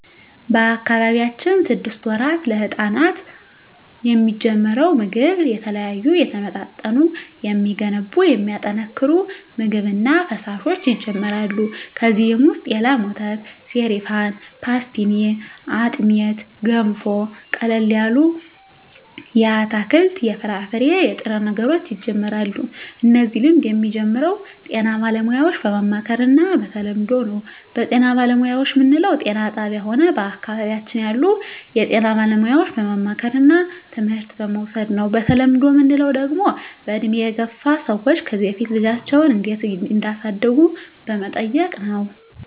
በአካባቢያችን ስድስት ወራት ለህጻናት የሚጀምረው ምግብ የተለያዩ የተመጣጠኑ የሚገነቡ የሚያጠናክሩ ምግብ እና ፈሣሾች ይጀመራሉ ከዚ ውሰጥ የላም ወተት ሰሪፋን ፓሥትኒ አጥሜት ገንፎ ቀለል ያሉ የአትክልት የፍራፍሬ የጥሬ ነገሮች ይጀምራሉ እነዚህ ልምድ የሚጀምረው ጤና ባለሙያዎች በማማከር እና በተለምዶው ነው በጤና ባለሙያዎች ምንለው ጤና ጣብያ ሆነ በአካባቢያችን ያሉ የጤና ባለሙያዎች በማማከርና ትምህርት በመዉሰድ ነው በተለምዶ ምንለው ደግሞ በእድሜ የገፍ ሰዎች ከዚ በፊት ልጃቸው እንዴት እዳሳደጉ በመጠየቅ ነው